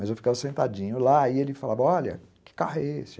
Mas eu ficava sentadinho lá, e ele falava, olha, que carro é esse?